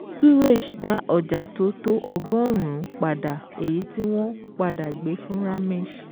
Suresh dá ọjà tó tó ọgọ́rùn-ún padà èyí tí wọ́n padà gbé fún Ramesh